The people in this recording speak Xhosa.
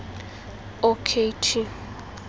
o k t